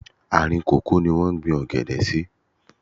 Àárìn kòkó ní wọ́n gbín ọ̀gẹ̀dẹ̀ sí.